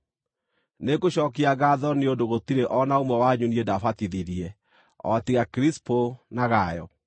Nĩngũcookia ngaatho nĩ ũndũ gũtirĩ o na ũmwe wanyu niĩ ndaabatithirie, o tiga Kirisipo na Gayo.